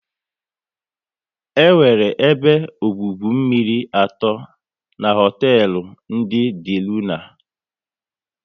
E nwere ebe ọgwụgwụ mmiri atọ n'hotelu ndị De Luna